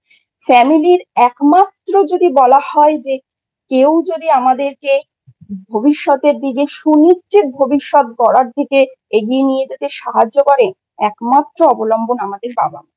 Family র একমাত্র যদি বলা হয় যে, কেউ যদি আমাদেরকে ভবিষ্যতের দিকে সুনিশ্চিত ভবিষ্যৎ গড়ার দিকে এগিয়ে নিয়ে যেতে সাহায্য করে একমাত্র অবলম্বন আমাদের বাবাI